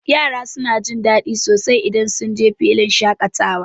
Yara suna jin daɗi sosai idan sunje filin shaƙatawa.